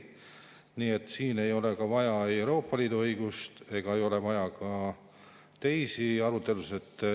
Nii et siin ei ole vaja ei Euroopa Liidu õigust ega ole vaja ka teisi arutelusid.